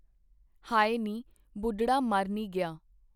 ਹਾਏ ਨੀ ਬੁੱਢੜਾ ਮਰਨੀ ਗਿਆ